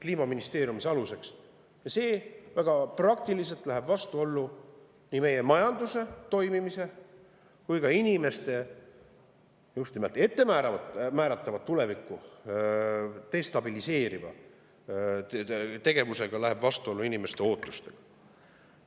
Ja see läheb väga praktiliselt vastuollu nii meie majanduse toimimise – just nimelt ettemääratavat tulevikku destabiliseeriva tegevusega – kui ka inimeste ootustega.